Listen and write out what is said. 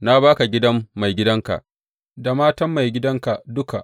Na ba ka gidan maigidanka, da matan maigidanka duka.